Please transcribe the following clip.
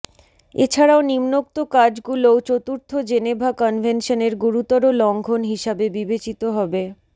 এছাড়াও নিম্নোক্ত কাজগুলোও চতুর্থ জেনেভা কনভেনশনের গুরুতর লঙ্ঘন হিসাবে বিবেচিত হবেঃ